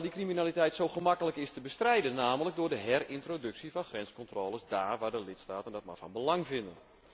Terwijl die criminaliteit zo gemakkelijk is te bestrijden, namelijk door de herintroductie van grenscontroles dáár waar de lidstaten dat van belang vinden.